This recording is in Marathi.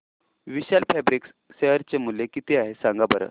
विशाल फॅब्रिक्स शेअर चे मूल्य किती आहे सांगा बरं